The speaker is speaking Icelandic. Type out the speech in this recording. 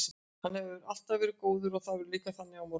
Hann hefur alltaf verið góður og það verður líka þannig á morgun.